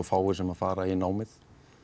fáir sem fara í námið